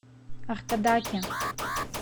аркадаке